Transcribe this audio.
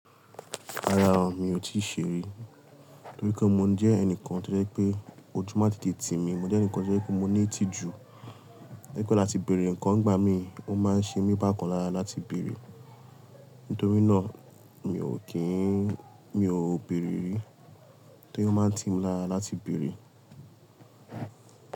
Rárá o, mi ò tíì ṣe rí. Nítorí pé mo jẹ́ ẹnìkan tó jẹ́ pé ojú máa ti di ti mi. Mo jẹ́ ẹnìkan tó jẹ́ pé mo ní ìtìjú. Láti bèrè ǹkan n gbà mi ó máa ń ṣe mi bákan lára láti bèrè. Nítorí náà mi ò kí n. Mi ò bèrè rí. Torí ó máa ń ti mi lára láti bèrè.